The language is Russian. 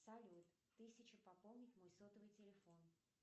салют тысяча пополнить мой сотовый телефон